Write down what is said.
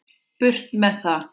Burt með það.